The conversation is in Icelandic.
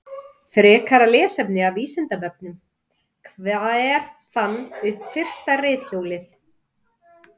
Frekara lesefni af Vísindavefnum: Hver fann upp fyrsta reiðhjólið?